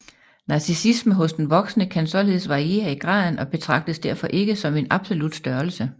Narcissisme hos den voksne kan således variere i graden og betragtes derfor ikke som en absolut størrelse